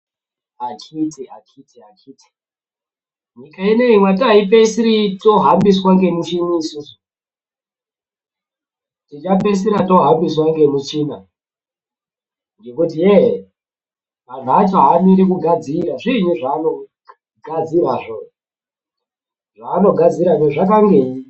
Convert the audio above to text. Akhiti akhiti akhiti nyika ineyi mwati aipeisiri tohambiswa ngemuchini isisu tichapeisira tohambiswa ngemuchina ngekuti ye antu acho aamiri kugadzira zviinyi zvaanogadzirazvo ,zvaanogadzirazvo zvakangei.